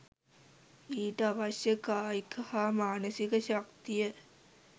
ඊට අවශ්‍ය කායික හා මානසික ශක්තිය